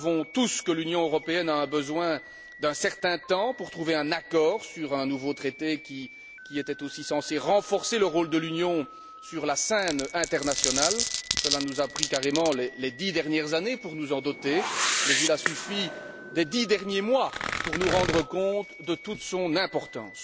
Nous savons tous que l'Union européenne a eu besoin d'un certain temps pour trouver un accord sur un nouveau traité qui était aussi censé renforcer le rôle de l'Union sur la scène internationale. Cela nous a pris carrément les 10 dernières années pour nous en doter mais il a suffi des 10 derniers mois pour nous rendre compte de toute son importance.